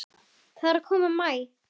Það er að koma maí.